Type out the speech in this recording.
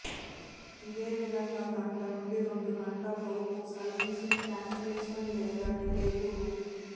ఇదే విధంగా గంట నుంచి రెండు గంటలలోపు సర్వీసుల క్యాన్సిలేషన్ లేదా డిలేకు రూ